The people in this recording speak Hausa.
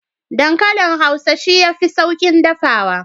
Dankalin hausa shi yafi saukin dafawa.